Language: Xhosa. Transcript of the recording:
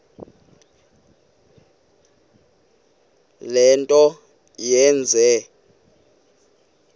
le nto yenze